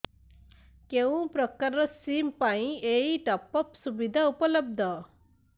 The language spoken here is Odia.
କେଉଁ ପ୍ରକାର ସିମ୍ ପାଇଁ ଏଇ ଟପ୍ଅପ୍ ସୁବିଧା ଉପଲବ୍ଧ